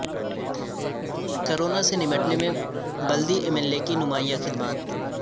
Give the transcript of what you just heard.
corona سے نمٹنے میں بلدی عملے کی نمایاں خدمات